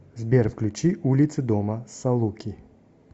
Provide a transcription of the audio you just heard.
сбер включи улицы дома салуки